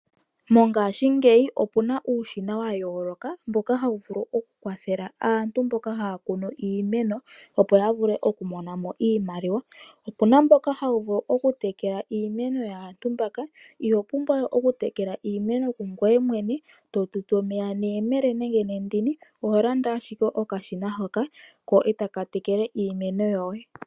Mongashingeyi okuna uushina wayooloka mboka hawu vulu okukwathela aantu mboka haya kunu iimeno opo yavule okumonamo iimaliwa. Opuna mboka hawu vulu okutekela iimeno yaantu mbaka, iho pumbwa we okutekela iimeno kungoye mwene, totutu omeya nehemele nenge nendini, oho landa ashike okashina hoka, ko etaka tekele iimeno yo ye.